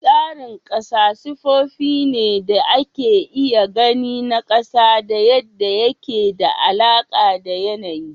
Tsarin ƙasa sifofi ne da ake iya gani na ƙasa da yadda yake da alaƙa da yanayi